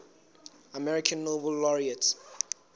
american nobel laureates